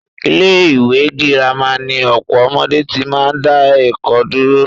Ilé ìwé gírámà ni ọ̀pọ̀ ọmọdé tí máa ń dá ẹ̀kọ́ dúró.